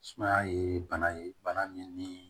Sumaya ye bana ye bana min ni